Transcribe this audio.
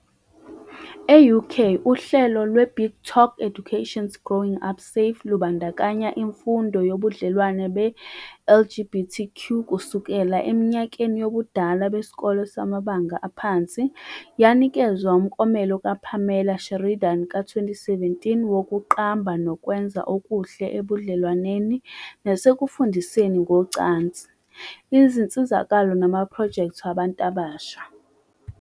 E-UK, uhlelo lweBigTalk Education's Growing Up Safe lubandakanya imfundo yobudlelwano be-LGBT kusukela eminyakeni yobudala besikole samabanga aphansi, yanikezwa umklomelo kaPamela Sheridan ka-2017 wokuqamba nokwenza okuhle ebudlelwaneni nasekufundiseni ngocansi, izinsizakalo namaphrojekthi wabantu abasha.